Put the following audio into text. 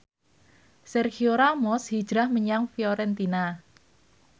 Sergio Ramos hijrah menyang Fiorentina